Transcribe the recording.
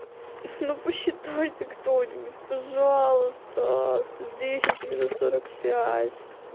ну посчитайте кто-нибудь пожалуйста сто десять минус сорок пять